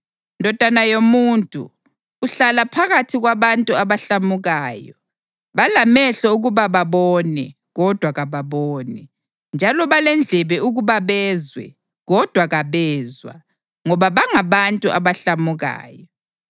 “Ndodana yomuntu, uhlala phakathi kwabantu abahlamukayo. Balamehlo ukuba babone kodwa kababoni, njalo balendlebe ukuba bezwe kodwa kabezwa, ngoba bangabantu abahlamukayo.